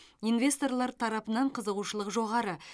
инвесторлар тарапынан қызығушылық жоғары